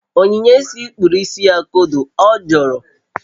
Onyinyechi kpuru isi ya kodo, ọ jọọrọ